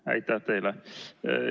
Aitäh teile!